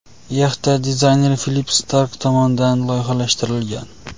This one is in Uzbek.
Yaxta dizayner Filipp Stark tomonidan loyihalashtirilgan.